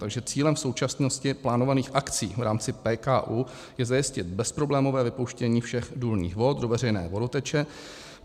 Takže cílem v současnosti plánovaných akcí v rámci PKÚ je zajistit bezproblémové vypouštění všech důlních vod do veřejné vodoteče.